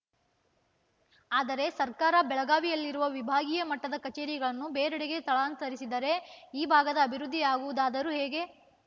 ಆದರೆ ಸರ್ಕಾರ ಬೆಳಗಾವಿಯಲ್ಲಿರುವ ವಿಭಾಗೀಯ ಮಟ್ಟದ ಕಚೇರಿಗಳನ್ನು ಬೇರೆಡೆಗೆ ಸ್ಥಳಾಂತರಿಸಿದರೆ ಈ ಭಾಗದ ಅಭಿವೃದ್ಧಿಯಾಗುವುದಾದರೂ ಹೇಗೆ